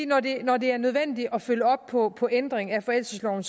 når det når det er nødvendigt at følge op på på ændringer af forældelsesloven